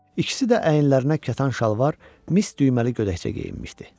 İkisi də əyinlərinə kətan şalvar, mis düyməli gödəkcə geyinmişdi.